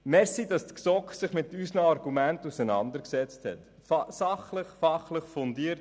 Danke, dass sich die GSoK mit unseren Argumenten auseinandergesetzt hat und dies sachlich und fachlich fundiert.